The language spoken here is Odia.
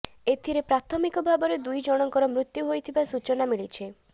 ଏଥିରେ ପ୍ରାଥମିକ ଭାବରେ ଦୁଇ ଜଣଙ୍କର ମୃତ୍ୟୁ ହୋଇଥିବା ସୂଚନା ମିଳିଛି